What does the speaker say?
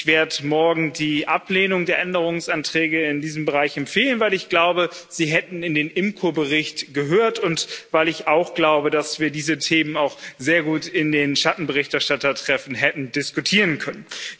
Ich werde morgen die Ablehnung der Änderungsanträge in diesem Bereich empfehlen, weil ich glaube, dass sie in den IMCO-Bericht gehört hätten, und weil ich auch glaube, dass wir diese Themen auch sehr gut in den Schattenberichterstattertreffen hätten diskutieren können.